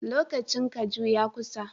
Lokacin kaju ya kusa.